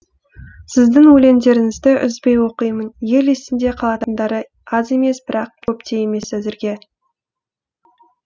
сіздің өлеңдеріңізді үзбей оқимын ел есінде қалатындары аз емес бірақ көп те емес әзірге